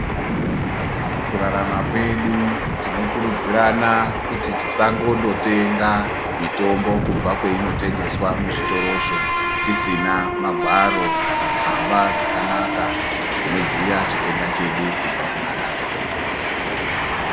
Mukurarama kwedu tinokurudzirana kuti tisangonotenga mitombo kubva kwainotengeswa muzvitorozvo tisina magwaro kana tsamba dzakanaka dzinobhuya chitenda chedu kubva kunanadhokodheya.